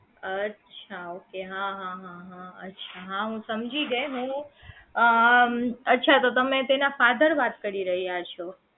અચ્છા okay હાં હા હા અચ્છા હું સમજી ગઈ હું અચ્છા તો તમેં તેના father વાત કરી રહ્યા છો